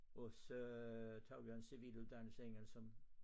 Og så tog jeg en civiluddannelse igen som